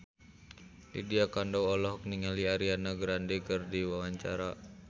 Lydia Kandou olohok ningali Ariana Grande keur diwawancara